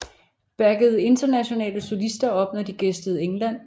Backede internationale solister op når de gæstede England